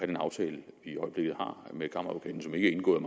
den aftale vi i øjeblikket har med kammeradvokaten som ikke er indgået